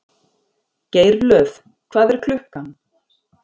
Geirlöð, hvað er klukkan?